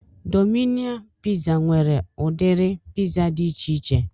Domino piza nwere udiri piza dị ichiche